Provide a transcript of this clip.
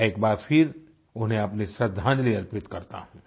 मैं एक बार फिर उन्हें अपनी श्रृद्धांजलि अर्पित करता हूँ